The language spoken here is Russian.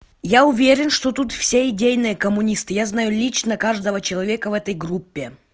я уверен что тут все идейные коммунисты я знаю лично каждого человека в этой группе